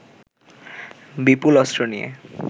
বিপুল অস্ত্র নিয়ে